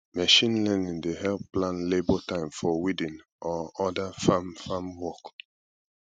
machine learning dey help plan labor time for weeding or other farm farm work